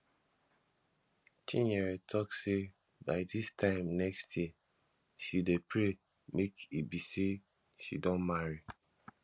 chinyere talk say by dis time next year she dey pray make e be say she don marry